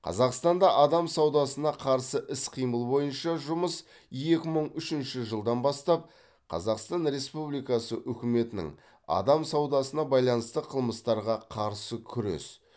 қазақстанда адам саудасына қарсы іс қимыл бойынша жұмыс екі мың үшінші жылдан бастап қазақстан республикасы үкіметінің адам саудасына байланысты қылмыстарға қарсы күрес